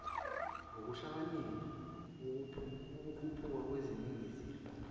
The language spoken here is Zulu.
ngokuhlakanipha ukukhuphuka kweningizimu